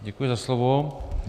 Děkuji za slovo.